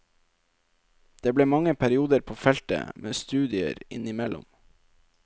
Det ble mange perioder på feltet, med studier innimellom.